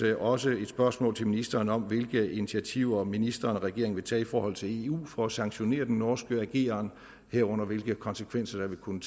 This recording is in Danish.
jeg også et spørgsmål til ministeren om hvilke initiativer ministeren og regeringen vil tage i forhold til eu for at sanktionere den norske ageren herunder hvilke konsekvenser det vil kunne